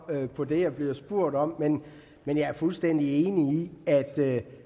på det jeg bliver spurgt om men men jeg er fuldstændig enig i at sætte